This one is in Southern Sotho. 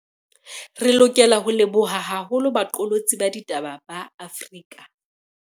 Re lokela ho leboha haholo baqolotsi ba ditaba ba Afrika